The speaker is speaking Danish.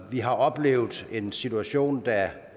vi har oplevet en situation da